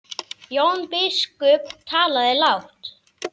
Jón biskup talaði lágt.